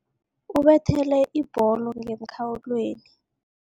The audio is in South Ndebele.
Ubethele ibholo ngemkhawulweni.